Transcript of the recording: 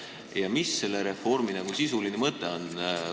Ja mis on selle reformi sisuline mõte?